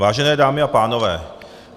Vážené dámy a pánové.